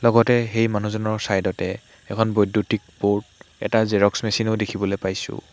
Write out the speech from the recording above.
লগতে সেই মানুহজনৰ ছাইড তে এখন বৈদ্যুতিক বৰ্ড এটা জেৰক্স মেছিন ও দেখিবলৈ পাইছোঁ।